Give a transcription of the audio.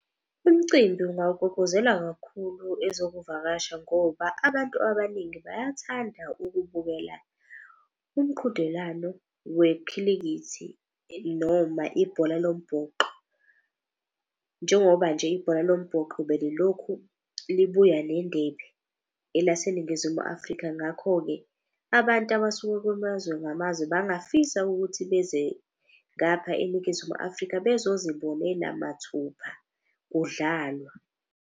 Umcimbi ungawuguguzela kakhulu ezokuvakasha ngoba abantu abaningi. Bayathanda ukubukela umqhudelano wekhilikithi noma ibhola lombhoxo. Njengoba nje ibhola lombhoxo belilokhu libuya nendebe elaseNingizimu Afrika. Ngakho-ke abantu abasuka kumazwe ngamazwe bangafisa ukuthi beze ngapha eNingizimu Afrika bezozibonela mathuba kudlalwa.